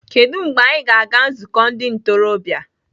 Kedu mgbe anyị ga-aga nzukọ ndị ntorobịa?